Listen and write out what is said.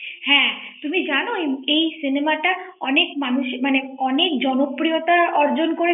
হ্যাঁ তুমি জানো এই cinema টা মানুষের মানে অনেক জনপ্রিয়তা অর্জন করেছে ৷